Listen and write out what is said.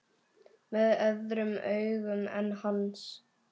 Með öðrum augum en hans.